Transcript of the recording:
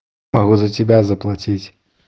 могу за тебя заплатить